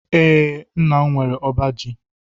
Ee, nnam nwere ọbá ji